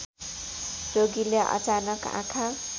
रोगीले अचानक आँखा